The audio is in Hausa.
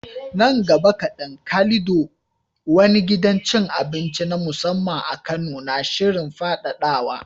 Nan gaba kaɗan, Calido, wani gidan cin abinci na musamman a Kano, na shirin faɗaɗawa